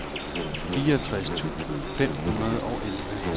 fireogtres tusind fem hundrede og elleve